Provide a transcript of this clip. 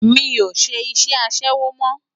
Má ṣé iṣè aṣèwó mò